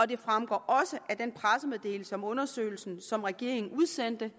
det fremgår også af den pressemeddelelse om undersøgelsen som regeringen udsendte